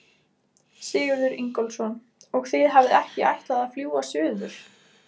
Sigurður Ingólfsson: Og þið hafið ekki ætlað að fljúga suður?